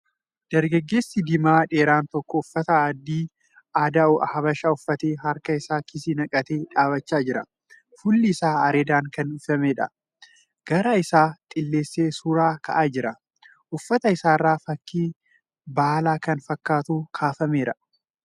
Dargaggeessi diimaa dheeraan tokko uffata adii aadaa Habashaa uffatee harka isaa kiisii naqatee dhaabbachaa jira. Fuulli isaa areedan kan uwwifameedha .Garaa isaa xiillessee suura ka'aa jira . Uffata isaa irra fakkii baalaa kan fakkaatu kaafameera.